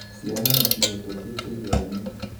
ciana nicihĩtũkĩte ĩgeranio